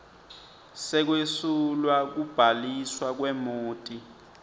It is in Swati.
sekwesulwa kubhaliswa kwemoti